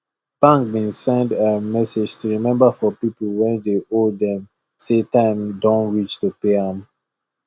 bank been send um message to remember for people wey dey owe them say time don reach to pay am